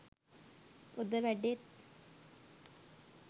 ඔද වැඩෙත්.